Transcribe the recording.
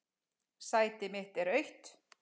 Sæti mitt er autt.